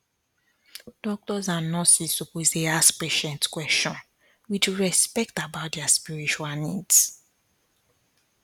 doctors and nurses suppose dey ask patients question with respect about their spiritual needs